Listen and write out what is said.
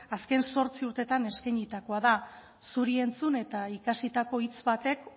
azken zortzi urtetan eskainitakoa da zuri entzun eta ikasitako hitz batek